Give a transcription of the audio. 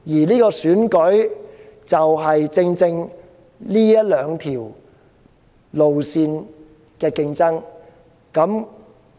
這次選舉正正是這兩條路線的競爭。